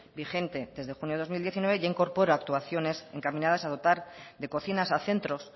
vigente desde junio de dos mil diecinueve ya incorpora actuaciones encaminadas a dotar de cocinas a centros